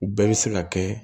U bɛɛ bɛ se ka kɛ